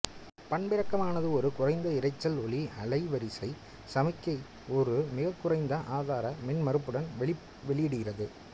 பண்பிறக்கமானது ஒரு குறைந்தஇரைச்சல் ஒலி அலைவரிசை சமிக்ஞையை ஒரு மிகக்குறைந்த ஆதார மின்மறுப்புடன் வெளியிடுகிறது